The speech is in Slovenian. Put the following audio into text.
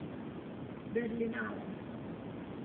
Berlinale.